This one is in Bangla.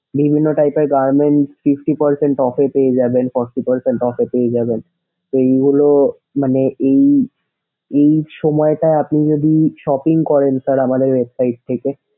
বিভিন্ন type এর garments fifty percent off এ পেয়ে যাবেন forty percent off এ পেয়ে যাবেন। এইগুলো মানে এই এই সময়টা আপনি যদি shopping করেন sir আমাদের website থেকে,